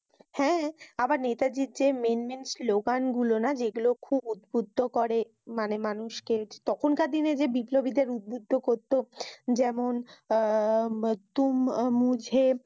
হ্যাঁ। আবার নেতাজীর যে Main main স্লোগান গুলি না যেগুলো উদ্ভদ্দ করে মানুষকে। তখনকার দিনে বিল্পবীদের উদ্ভদ্দ করতো। যেমন, আহ তোমরা মুজে